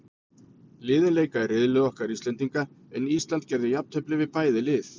Liðin leika í riðli okkar Íslendinga, en Ísland gerði jafntefli við bæði lið.